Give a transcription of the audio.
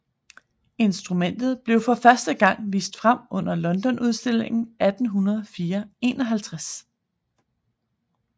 Instrumentet blev for første gang vist frem under Londonudstillingen 1851